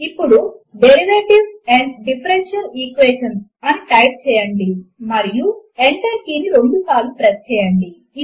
ఇప్పుడు derivatives and differential Equations అని type చేయండి మరియు ఎంటర్ కీ ను రెండుసార్లు ప్రెస్ చేయండి